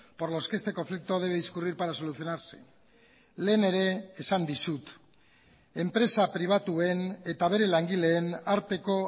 por los que este conflicto debe discurrir para solucionarse lehen ere esan dizut enpresa pribatuen eta bere langileen arteko